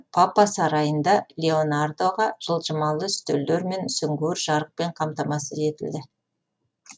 папа сарайында леонардоға жылжымалы үстелдер мен сүңгуір жарықпен қамтамасыз етілді